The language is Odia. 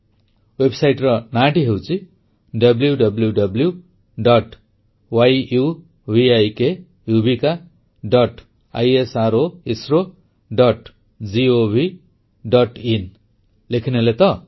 ୱେବସାଇଟର ନାଁଟି ହେଉଛି wwwୟୁଭିକisrogovଆଇଏନ ଲେଖିନେଲେ ତ